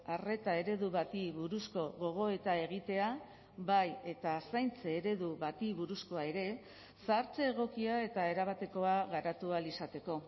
arreta eredu bati buruzko gogoeta egitea bai eta zaintza eredu bati buruzkoa ere zahartze egokia eta erabatekoa garatu ahal izateko